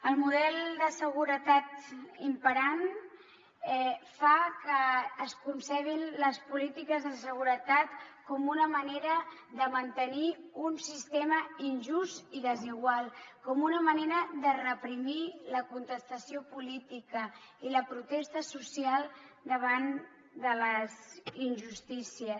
el model de seguretat imperant fa que es concebin les polítiques de seguretat com una manera de mantenir un sistema injust i desigual com una manera de reprimir la contestació política i la protesta social davant de les injustícies